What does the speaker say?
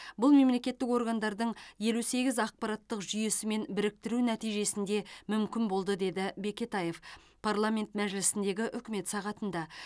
бұл мемлекеттік органдардың елу сегіз ақпараттық жүйесімен біріктіру нәтижесінде мүмкін болды деді бекетаев парламент мәжілісіндегі үкмет сағатында